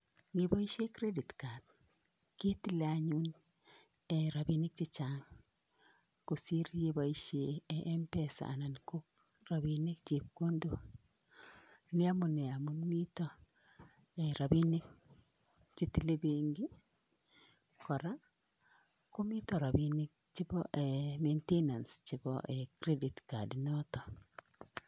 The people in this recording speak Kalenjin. Neboishe credit card ketilei anyun rabinik chechang kosir neboishe mpesa anan rabinik chepkondok. Ni amune, amun mito rabinik chetilei benki kora komito rabinik chebo maintanance chebo credit card inotok.